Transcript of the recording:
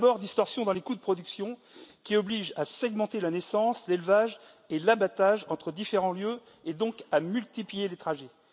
Tout d'abord, les distorsions dans les coûts de production, qui obligent à segmenter la naissance, l'élevage et l'abattage entre différents lieux et donc à multiplier les trajets.